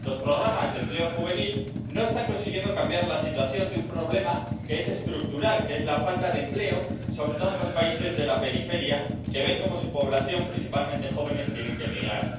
Los programas de empleo juvenil no están consiguiendo cambiar la situación de un problema que es estructural, que es la falta de empleo, sobre todo en los países de la periferia, que ven cómo su población, principalmente jóvenes, tiene que migrar.